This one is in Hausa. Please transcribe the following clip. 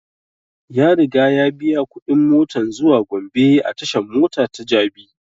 Ya riga ya biya kuɗin motan zuwa gombe a tashan mota ta jabi